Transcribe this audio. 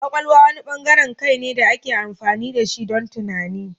Kwakwalwa wani bangaren kai ne da ake amfani da shi don tunani.